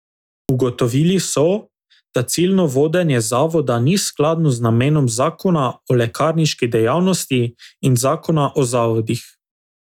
Ugotovili so, da ciljno vodenje Zavoda ni skladno z namenom zakona o lekarniški dejavnosti in zakona o zavodih.